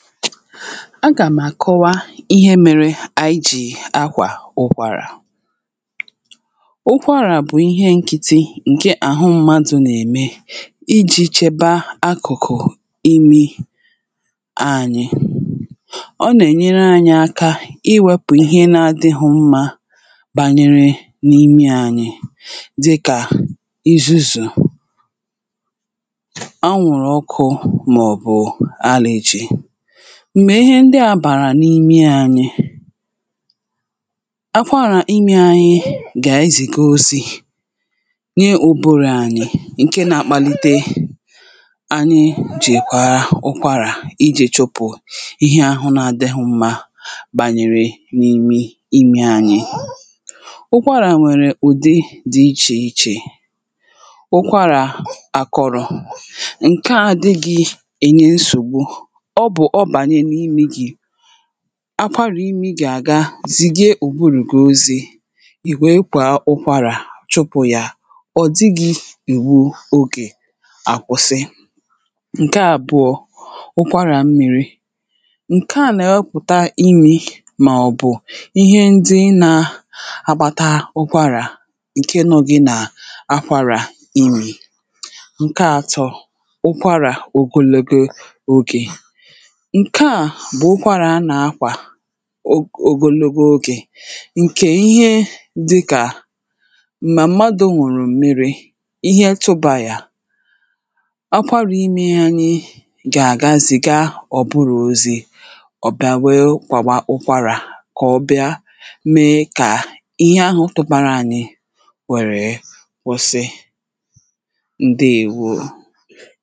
a gàm̀ àkọwa ihe mėrė iji akwà ụkwarà ụkwarà bụ̀ ihe nkịtị ǹke àhụ mmadụ̇ nà-ème iji chèba akụ̀kụ̀ imi ànyị ọ nà-ènyere ànyị aka iwėpù ihe na-adị̇ghị̇ mmȧ bànyere n’imi ànyị dịkà izuzu̇ m̀gbè ihe ndi à bàrà n’imi ànyị akwarà imi anyị gà ezìga osì nye oburu̇ ànyị ǹke na-akpalite anyị jèkwara ụkwarà iji̇ chọpụ̀ ihe ahụ̇ na-adịghị̇ mmȧ bànyere n’imi imi anyị ụkwarà nwèrè ụ̀dị dị ichè ichè ụkwarà àkọrọ̀ ǹke à adị gị̇ ènye nsògbu akwarà imi gà-àga zìgì òburùgosi̇ ìwèe kwà ụkwarà chụpụ̀ yà ọ̀ dịgị̇ ìwu ogè àkwụ̀sị ǹkè àbụ̀ọ ụkwarà m miri ǹkè a nà-epùta imi̇ màọ̀bụ̀ ihe ndi nà-akpata ụkwarà ǹke nọ gị̇ nà akwarà imi̇ ǹke atọ̇ ụkwarà ògòlebe ogè ǹkè à bụ̀ ụkwarà anà-akwà o gologo ogè ǹkè ihe dịkà mà mmadụ̇ nwụ̀rụ̀ mmịrị̇ ihe tụbà yà akwȧrò imė ihe anyị gà-àga zìga ọ̀bụrụ̀ ozi ọ̀ bịawa wèe kwàwa ụkwarà kọ̀ ọbịa mee kà ihe ahụ̇ tụbàrà à nị wère kwụsị ǹdewȯ